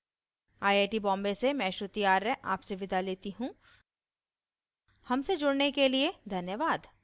I I T Bombay से मैं श्रुति आर्य आपसे विदा लेती हूँ हमसे जुड़ने के लिए धन्यवाद